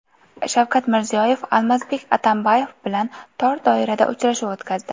Shavkat Mirziyoyev Almazbek Atamboyev bilan tor doirada uchrashuv o‘tkazdi.